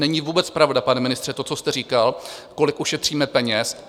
Není vůbec pravda, pane ministře, to, co jste říkal, kolik ušetříme peněz.